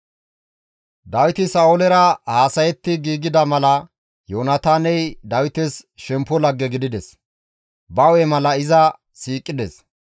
Dawiti Sa7oolera haasayetti giigida mala Yoonataaney Dawites shemppo lagge gidides; ba hu7e mala iza siiqides.